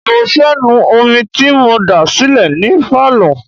mo fẹ́ nu omi tí mo dà sílẹ̀ ní Pálọ̀.